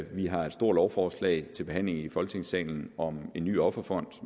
vi har et stort lovforslag til behandling i folketingssalen om en ny offerfond